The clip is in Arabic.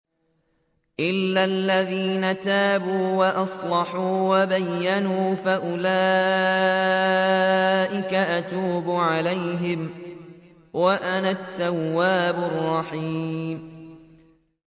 إِلَّا الَّذِينَ تَابُوا وَأَصْلَحُوا وَبَيَّنُوا فَأُولَٰئِكَ أَتُوبُ عَلَيْهِمْ ۚ وَأَنَا التَّوَّابُ الرَّحِيمُ